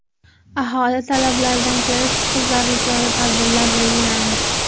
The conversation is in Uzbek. Aholi talablaridan kelib chiqib zarur chora-tadbirlar belgilandi.